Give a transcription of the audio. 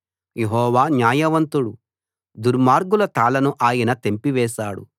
యెహోవా న్యాయవంతుడు దుర్మార్గుల తాళ్ళను ఆయన తెంపివేశాడు